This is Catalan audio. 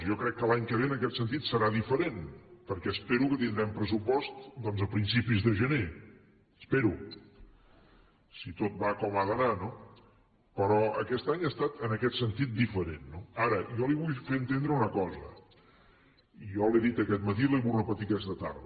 jo crec que l’any que ve en aquest sentit serà diferent perquè espero que tindrem pressupost doncs a principis de gener ho espero si tot va com ha d’anar no però aquest any ha estat en aquest sentit diferent no ara jo li vull fer entendre una cosa jo l’he dit aquest matí i la hi vull repetir aquesta tarda